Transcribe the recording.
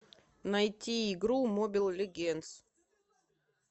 найти игру мобил легендс